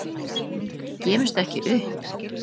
ÞORVALDUR: Gefumst ekki upp!